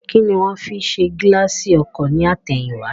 Kíni wón fi ṣe gíláàsì ọkọ̀ ní àtẹ̀yìn wá